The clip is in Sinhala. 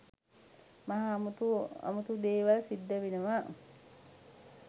මහා අමුතු අමුතු දේවල් සිද්ධ වෙනවා